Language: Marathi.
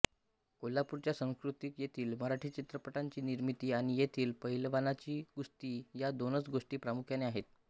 कोल्हापूरच्या संस्कृतीत येथील मराठी चित्रपटांची निर्मिती आणि येथील पहिलवानांची कुस्ती या दोनच गोष्टी प्रामुख्याने आहेत